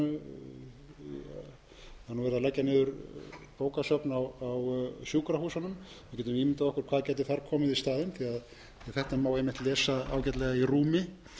að leggja niður bókasöfn á sjúkrahúsunum við getum ímyndað okkur hvað gæti komið þar í staðinn því þetta má einmitt lesa ágætlega í rúmi